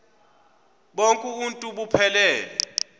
bonk uuntu buphelele